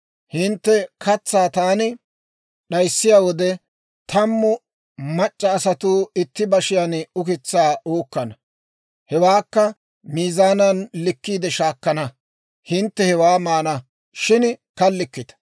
Hintte katsaa taani d'ayssiyaa wode, tammu mac'c'a asatuu itti bashiyaan ukitsaa uukkana; hewaakka miizaanan likkiide shaakkana; hintte hewaa maana, shin kallikkita.